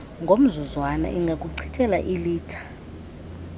ngomzuzwana ingakuchithela iilitha